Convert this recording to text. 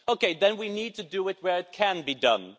Okay, then we need to do it where it can be done.